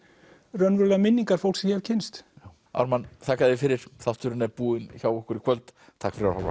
raunverulegar minningar fólks sem ég hef kynnst Ármann þakka þér fyrir þátturinn er búinn hjá okkur í kvöld takk fyrir að horfa